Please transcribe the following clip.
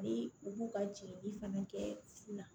Ni u b'u ka jeli fana kɛ fu la